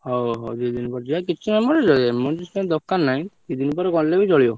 ହଉ ହଉ ଦି ଦିନ ପରେ ଯିବା କିଛି emergency ପାଇଁ ଦରକାର ନାହି ଦି ଦିନ ପରେ ଗଲେ ବି ଚଳିବ।